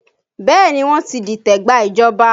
Bẹẹ ni, wọ́n ti dìtẹ̀ gba ìjọba